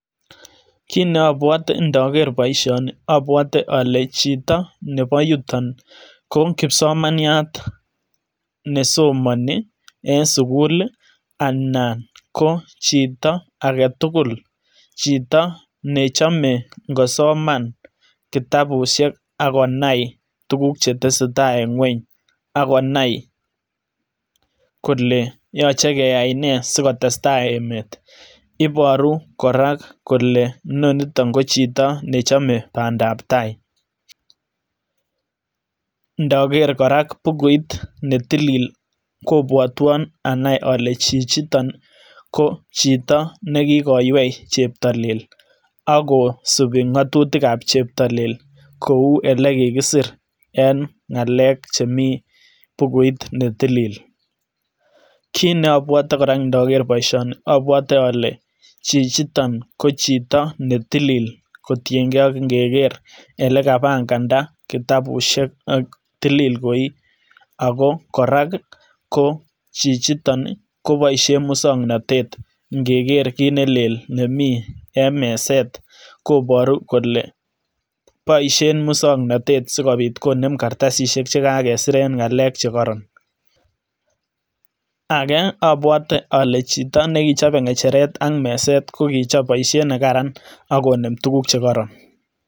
kiit ne obwote inoker boishoni obwote ole chito nebo yutok ko kipsomaniat nesomoni en sukul lii anan kochito aketukul chito nechome ikosoman kitabushek ak konai tukuk chetesetai en ngwony ak konai kole yoche keyai nee sikotestai emet iboru koraa kole noniton kochito nechome pandap tai , ndoker koraa bukuit netilik kobwotwon anai ole chijitok ko chitok nekikoywei cheptolel ak kosibi ngotutik ab cheptolel kou ole kikisir en ngalek chemii bukuit netill, kiit neobwoti koraa inoker boishonii obwotii ole chichiton ko chito netilil kotiyengee ak ingeker ole kapanganda kitabushek ak tilil koi ako korai ko chijitok koboishen muswoknotet ingeker kiit nelel nemii en meset koboru kole boishen muswoknotet sikopit konem kartasishek chekakesiren ngalek chekoron ,agee obwote ole chito nekichope ngecheret ak meset kokichop boishet nekaran ak konem tukuk chekoron.